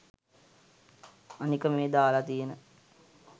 අනික මේ දාලා තියන